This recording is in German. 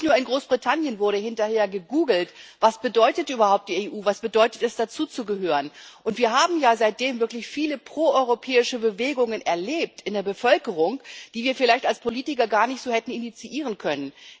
Nicht nur in Großbritannien wurde hinterher gegoogelt Was bedeutet überhaupt die EU, was bedeutet es, dazuzugehören? Und wir haben ja seitdem wirklich viele proeuropäische Bewegungen in der Bevölkerung erlebt, die wir vielleicht als Politiker gar nicht so hätten initiieren können.